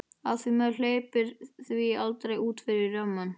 Af því maður hleypir því aldrei út fyrir rammann.